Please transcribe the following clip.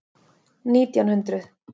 Nítján hundruð